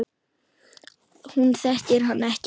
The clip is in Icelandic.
Hún þekkir hann ekki.